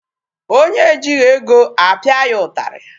Onye ejighị ego, a pịa ya ụtarị.